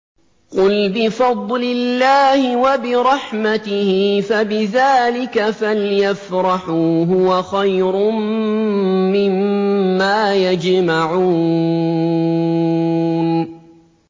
قُلْ بِفَضْلِ اللَّهِ وَبِرَحْمَتِهِ فَبِذَٰلِكَ فَلْيَفْرَحُوا هُوَ خَيْرٌ مِّمَّا يَجْمَعُونَ